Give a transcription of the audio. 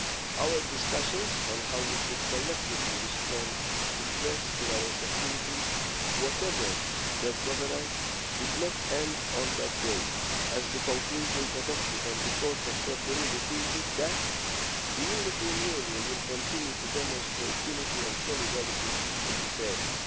Our discussions on how we should collectively respond to threats to our security, whatever their provenance, did not end on that day, as the conclusions adopted on 4 February repeated that the European Union will continue to demonstrate unity and solidarity in this area.